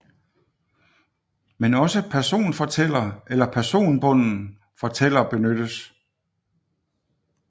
Men også personfortæller eller personbunden fortæller benyttes